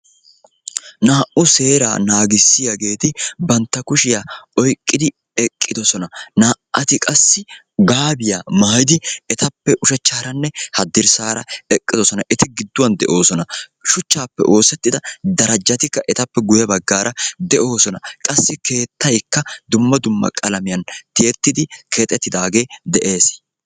Naa"u seeraa naagissiyaageeti bantta kushshiya oyqqidi eqqiddossona. Naa"ati qassi gaabiyaa maayidi etappe ushachchaaraanne hadrssaara eqqiddossona eti gidduwan de'oosona, shuchchaappe oosettida darjjatikka etappe guye baggaara de'oosona qassi keettaykka dumma dumma qalamiyan tiyettidi keexxettidaagee dees.